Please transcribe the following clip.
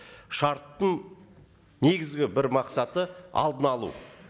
шарттың негізгі бір мақсаты алдын алу